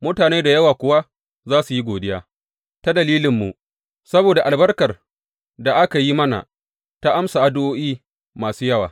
Mutane da yawa kuwa za su yi godiya ta dalilinmu, saboda albarkar da aka yi mana, ta amsa addu’o’i masu yawa.